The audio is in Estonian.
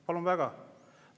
Palun väga!